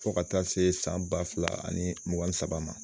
Fo ka taa se san ba fila ani mugan ni saba ma